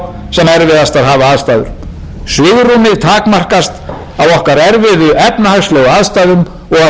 sem erfiðastar hafa aðstæður svigrúmið takmarkast af okkar erfiðu efnahagslegu aðstæðum og af stað og stund